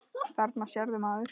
Þarna sérðu, maður.